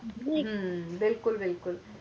ਹੱਮ ਬਿਲਕੁਲ ਬਿਲਕੁਲ